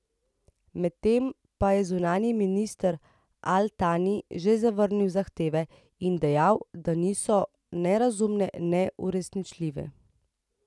Medtem pa je zunanji minister al Tani že zavrnil zahteve in dejal, da niso ne razumne ne uresničljive.